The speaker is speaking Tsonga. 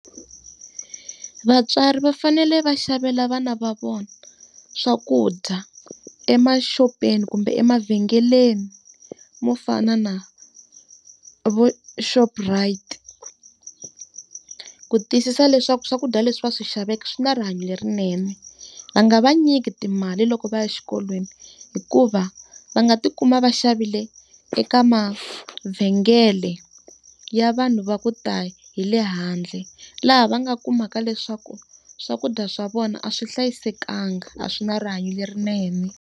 Vatswari va fanele va xavela vana va vona swakudya emaxopeni kumbe emavhengeleni mo fana na vu-Shoprite, ku tiyisisa leswaku swakudya leswi va swi xaveke swi na rihanyo lerinene. Va nga va nyiki timali loko va ya exikolweni hikuva va nga ti kuma va xavile eka mavhengele ya vanhu va ku ta hi le handle. Laha va nga kumaka leswaku swakudya swa vona a swi hlayisekangi, a swi na rihanyo lerinene.